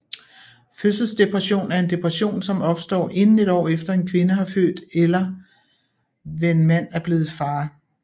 Fødselsdepression er en depression som opstår inden et år efter en kvinde har født eller ven mand er blevet far